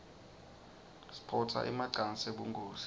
siphotsa emacansi ebunkhosi